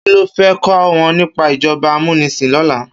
Ki ló fè kò wòn nipá ijòbá àmúnisín lòlá?